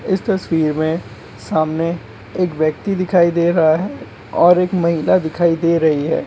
इस तस्वीर में सामने एक व्यक्ति दिखाई दे रहा है और एक महिला दिखाई दे रही है।